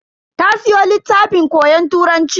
Ta siyo littafin koyon Turanci.